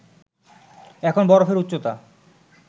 এখন বরফের উচ্চতা